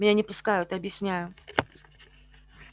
меня не пускают объясняю